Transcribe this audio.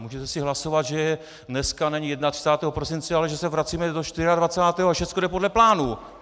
Můžete si hlasovat, že dneska není 31. prosince, ale že se vracíme do 24. a všechno jde podle plánů.